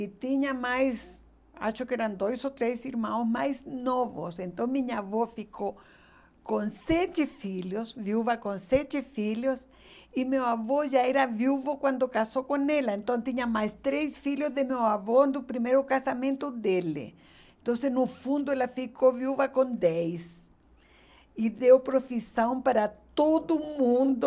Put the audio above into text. e tinha mais acho que eram dois ou três irmãos mais novos então minha avó ficou com sete filhos viúva com sete filhos e meu avô já era viúvo quando casou com ela então tinha mais três filhos de meu avô do primeiro casamento dele então no fundo ela ficou viúva com dez e deu profissão para todo mundo